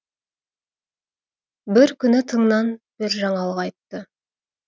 бір күні тыңнан бір жаңалық айтты